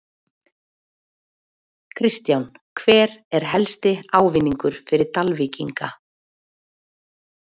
Kristján: Hver er helsti ávinningur fyrir Dalvíkinga?